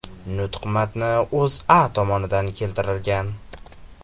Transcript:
Nutq matni O‘zA tomonidan keltirilgan .